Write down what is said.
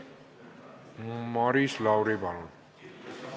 Maris Lauri, palun!